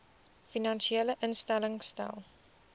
finansiële instellings stel